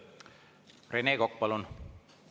Rene Kokk, palun!